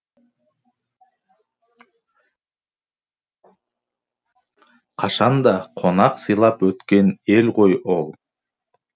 қашанда қонақ сыйлап өткен ел ғой ол